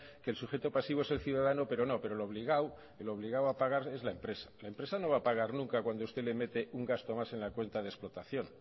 que el sujeto pasivo es el ciudadano pero no el obligado a pagar es la empresa la empresa no va a pagar nunca cuando usted le mete un gasto más en la cuenta de explotación